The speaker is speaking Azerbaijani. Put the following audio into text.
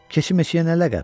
Keçi-meçiyə nə ləqəb?